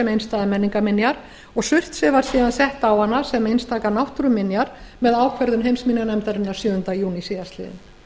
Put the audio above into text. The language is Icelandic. einstæðar menningarminjar og surtsey var síðan sett á hana sem einstakar náttúruminjar með ákvörðun heimsminjanefndarinnar sjöunda júní síðastliðnum